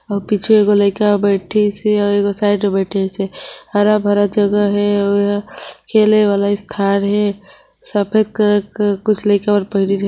अऊ पीछे एगो लईका बैठीस हे और एगो साइड बैठीस हे हरा भरा जगह हे और यहाँ खेले वाला स्थान हे सफेद कलर के कुछ लईका